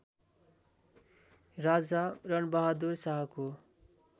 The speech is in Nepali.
राजा रणबहादुर शाहको